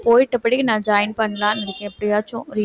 போயிட்டு நான் join பண்ணலான்னு இருக்கேன் எப்படியாச்சும் ஒரு